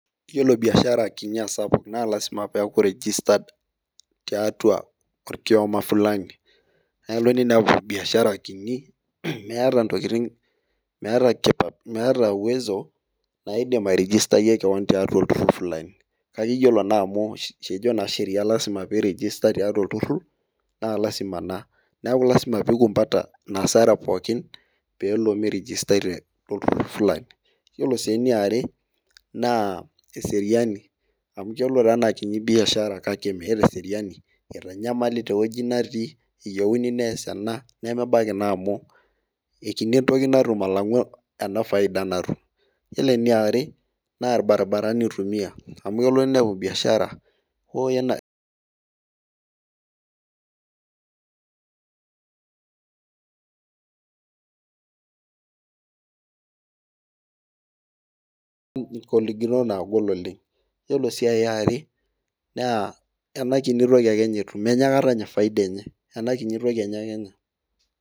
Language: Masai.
iyiolo biashara kinyi ashu esapuk naa ilasima pee eku rigistad tiatua okiyoma naa kelo ninepu biashara kiti meeta uwezo, naidim arigitayie olturur kake iyiolo naa ajo kejo sheria, naa ilasima naa neeku ilasima pee ikumpata pee ele mirigistai to ilturur lang' , ore enkae eseriaini amu ebaki naaji nitanyamali ajoki taasa ena naa ebaki naa kiti entoki natum , ore eniare naa ilbarabarani oitumiya .